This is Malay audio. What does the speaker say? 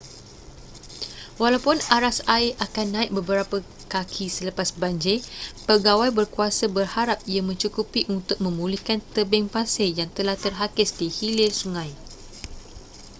walaupun aras air akan naik beberapa kaki selepas banjir pegawai berkuasa berharap ia mencukupi untuk memulihkan tebing pasir yang telah terhakis di hilir sungai